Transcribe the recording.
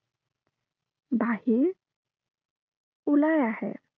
বাহিৰ ওলাই আহে।